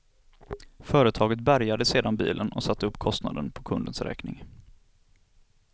Företaget bärgade sedan bilen och satte upp kostnaden på kundens räkning.